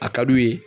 A ka d'u ye